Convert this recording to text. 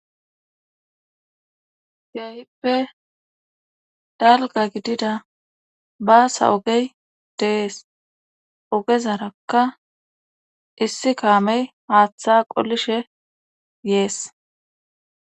gayippe dalga gidida baasa ogey dees ogezarakka issi kaamey haaththa qolishe yees